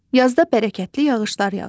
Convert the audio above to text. Yazda bərəkətli yağışlar yağır.